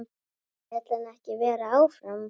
Vill hann ekki vera áfram?